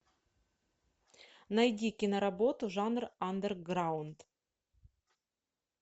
найди киноработу жанр андерграунд